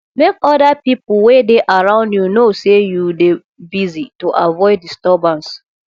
make other pipo wey dey around you know sey you dey busy to avoid disturbance